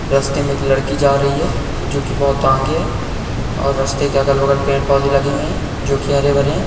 रस्ते में एक लड़की जा रही है जो कि बहुत आगे है और रस्ते के अगल-बगल पेड़ पोधे लगे हुए है जो कि हरे-भरे है।